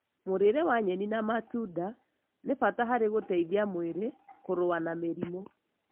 Mũrĩĩre wa nyeni na matunda nĩ bata harĩ gũteithia mwĩrĩ kũrua na mĩrimũ.